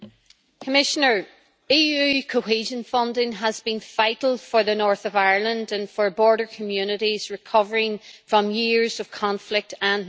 Mr President, EU cohesion funding has been vital for the north of Ireland and for border communities recovering from years of conflict and neglect.